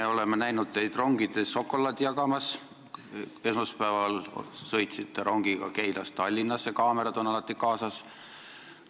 Me oleme näinud teid rongides šokolaadi jagamas, näiteks esmaspäeval sõitsite rongiga Keilast Tallinnasse, ja kaamerad on alati kaasas.